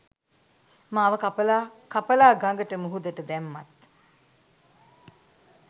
මාව කපලා කපලා ගඟට මුහුදට දැම්මත්